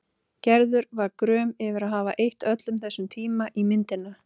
Gerður var gröm yfir að hafa eytt öllum þessum tíma í myndina.